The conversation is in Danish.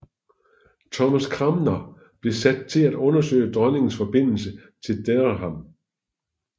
Thomas Cranmer blev sat til at undersøge dronningens forbindelse til Dereham